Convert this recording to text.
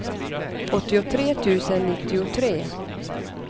åttiotre tusen nittiotre